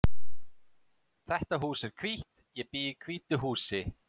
Þetta hús er hvítt. Ég bý í hvítu húsi.